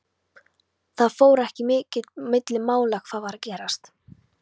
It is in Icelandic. Það fór ekki milli mála hvað var að gerast.